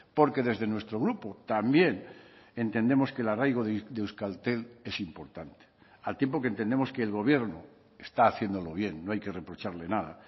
porque desde nuestro grupo también entendemos que el arraigo de euskaltel es importante al tiempo que entendemos que el gobierno está haciéndolo bien no hay que reprocharle nada